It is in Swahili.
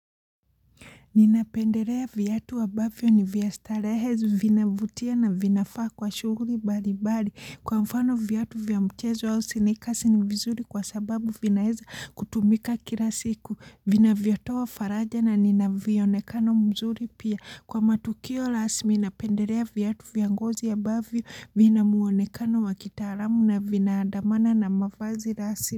Ninapendelea viatu ambavyo ni vya starehe vinavutia na vinafaa kwa shughuli mbalimbali, kwa mfano viatu vya mchezo au sneakers ni vizuri kwa sababu vinaeza kutumika kila siku vinavyotoa faraja na nina vyonekano mzuri pia, kwa matukio rasmi napendelea viatu vya ngozi ambavyo vina muonekano wa kitaalamu na vinaadamana na mavazi rasmi.